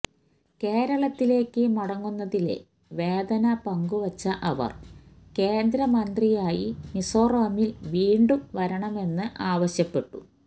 കേരളത്തിലേക്ക് മടങ്ങുന്നതിലെ വേദന പങ്കുവച്ച അവര് കേന്ദ്രമന്ത്രിയായി മിസോറാമില് വീണ്ടും വരണമെന്ന് ആവശ്യപ്പെട്ടു